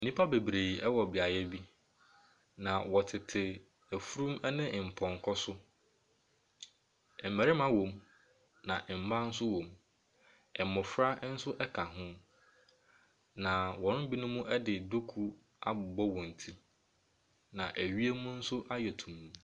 Nnipa bebree wɔ beaeɛ bi, na wɔtete afurum ne mpɔnkɔ so. Mmarima wɔ mu na mmaa nso wɔ mu. Mmɔfra nso ka ho. Ba wɔn mu binom de duku abɔ wɔ ti. Na wiem nso ayɛ tuntum.